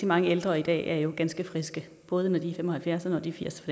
mange ældre i dag jo er ganske friske både når de er fem og halvfjerds og når de er firs